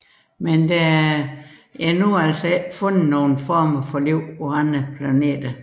Dog er der endnu ikke fundet nogle former for liv på andre planeter